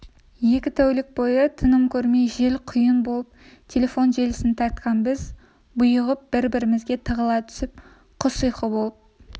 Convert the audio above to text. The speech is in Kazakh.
екі тәулік бойы тыным көрмей жел-құйын болып телефон желісін тартқан біз бұйығып бір-бірімізге тығыла түсіп құс ұйқы болып